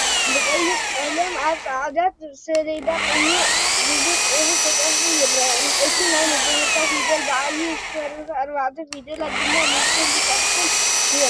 ብቀይሕ ቀለም ኣብ ፃዕዳ ሰሌዳ ቁኦራ ዝብል ፅሑፍ ተፃሒፋ ይርአ፡፡ እቲ ናይ መጀመርታ ፊደል ብዓብይ ዝተረፋ ኣርባዕተ ፊደላት ድማ ብንእሽተይ ተፃሒፎም ንሪኦም፡፡